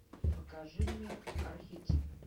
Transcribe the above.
покажи мне архетип